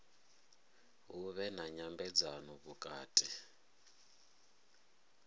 hu vhe na nyambedzano vhukati